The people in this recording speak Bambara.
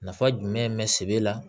Nafa jumɛn bɛ sebe la